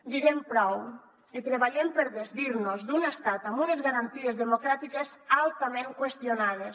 diguem prou i treballem per desdir nos d’un estat amb unes garanties democràtiques altament qüestionades